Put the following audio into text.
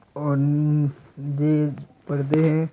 और नी दी परदे है।